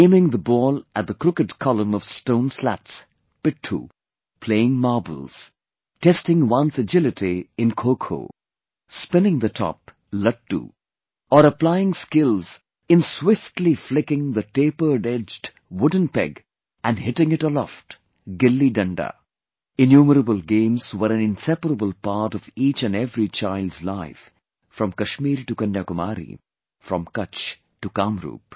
Aiming the ball at the crooked column of stone slats Pitthoo, playing marbles, testing one's agility in Kho kho, spinning the top, Lattoo, or applying skills in swiftly flicking the tapered edged wooden peg and hitting it aloftGilliDanda, innumerable games were an inseparable part of each & every child's life from Kashmir to Kanyakumari, from Kutch to Kamrup